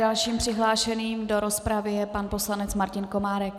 Dalším přihlášeným do rozpravy je pan poslanec Martin Komárek.